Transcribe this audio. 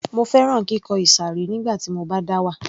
Mo fẹ́ràn kíkọ ìsàré nígbà tí mo bá dá wà